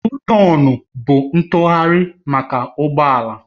Yutọonu bụ ntụgharị maka ụgbọ ala